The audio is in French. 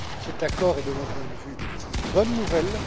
Cet accord est, de mon point de vue, une bonne nouvelle.